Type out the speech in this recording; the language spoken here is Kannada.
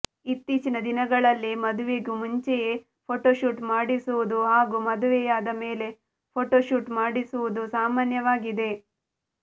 ಇತ್ತೀಚಿನ ದಿನಗಳಲ್ಲಿ ಮದುವೆಗೂ ಮುಂಚೆಯೇ ಫೋಟೊಶೂಟ್ ಮಾಡಿಸುವುದು ಹಾಗೂ ಮದುವೆಯಾದ ಮೇಲೆ ಫೋಟೊಶೂಟ್ ಮಾಡಿಸುವುದು ಸಾಮಾನ್ಯವಾಗಿದೆ